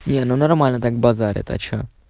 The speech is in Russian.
не ну нормально так базарит а что